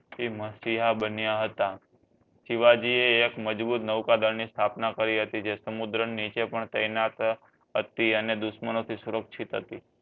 મશીહા બન્યા હતા શિવજી એ એક મજબૂત નૌકાદળ ની સ્ટાપના કરી હતી જે સમુદ્ર નીચે પણ ટેનત હતી અને દુશ્મનો તે સુરક્ષિત હતી